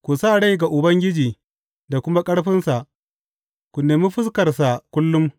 Ku sa rai ga Ubangiji da kuma ƙarfinsa; ku nemi fuskarsa kullum.